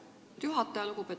Lugupeetud juhataja!